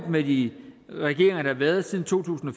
med de regeringer der har været siden to tusind og